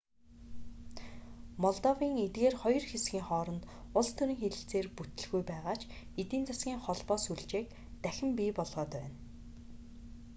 молдовын эдгээр хоёр хэсгийн хооронд улс төрийн хэлэлцээр бүтэлгүй байгаа ч эдийн засгийн холбоо сүлжээг дахин бий болгоод байна